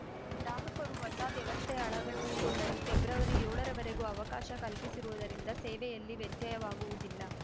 ಗ್ರಾಹಕರು ಹೊಸ ವ್ಯವಸ್ಥೆ ಅಳವಡಿಸಿಕೊಳ್ಳಲು ಫೆಬ್ರವರಿ ಏಳರವರೆಗೂ ಅವಕಾಶ ಕಲ್ಪಿಸಿರುವುದರಿಂದ ಸೇವೆಯಲ್ಲಿ ವ್ಯತ್ಯವಾಗುವುದಿಲ್ಲ